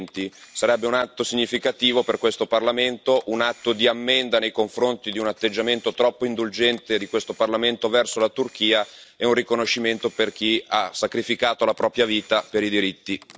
2020. Sarebbe un atto significativo per questo Parlamento, un atto di ammenda nei confronti di un atteggiamento troppo indulgente di questo Parlamento verso la Turchia, e un riconoscimento per chi ha sacrificato la propria vita per i diritti.